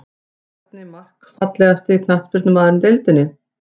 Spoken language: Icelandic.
Bjarni Mark Fallegasti knattspyrnumaðurinn í deildinni?